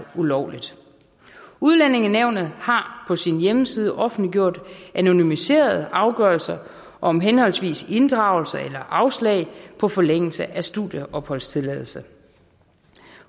ulovligt udlændingenævnet har på sin hjemmeside offentliggjort anonymiserede afgørelser om henholdsvis inddragelse eller afslag på forlængelse af studieopholdstilladelser